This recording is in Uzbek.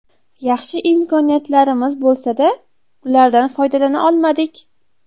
Yaxshi imkoniyatlarimiz bo‘lsa-da, ulardan foydalana olmadik.